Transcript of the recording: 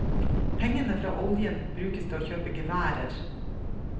Pengene fra oljen brukes til å kjøpe geværer.